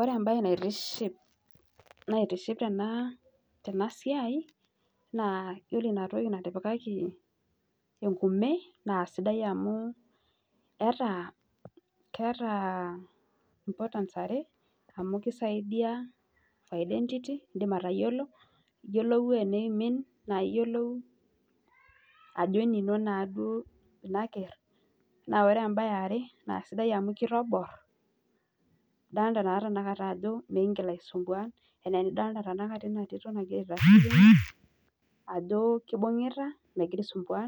Ore embae naitiship tenasiai na ore inatoki natipikaki enkume na sidai amu kisaidia identity iyolou teneimin na iyiolou ajo enino na enaker na ore embae eare na kitobor mikingil aisumbua idol ajo kibungita ehira aisumbua